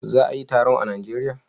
Za a yi taron a najeria?